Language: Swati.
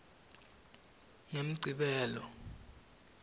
ngemgcibelo